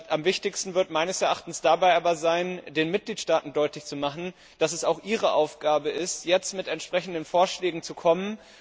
Am wichtigsten wird meines Erachtens dabei aber sein, den Mitgliedstaaten deutlich zu machen, dass es auch ihre Aufgabe ist, jetzt entsprechende Vorschläge vorzulegen.